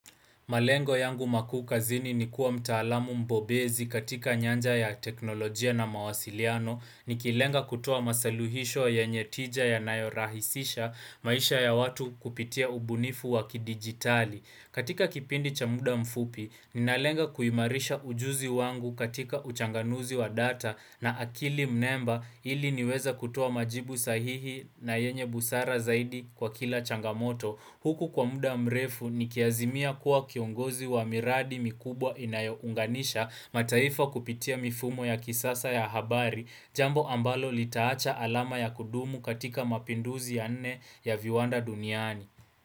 Malengo yangu mkuu kazini ni kuwa mtaalamu mbobezi katika nyanja ya teknolojia na mawasiliano, nikilenga kutoa masaluhisho ywnye tija yanayo rahisisha, maisha ya watu kupitia ubunifu wa kidigitali. Katika kipindi cha muda mfupi, ninalenga kuimarisha ujuzi wangu katika uchanganuzi wa data na akili mnemba ili niweze kutoa majibu sahihi na yenye busara zaidi kwa kila changamoto. Huku kwa muda mrefu nikiazimia kuwa kiongozi wa miradi mikubwa inayounganisha mataifa kupitia mifumo ya kisasa ya habari jambo ambalo litaacha alama ya kudumu katika mapinduzi ya nne ya viwanda duniani.